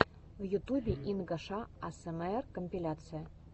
в ютубе инга шэ асмр компиляция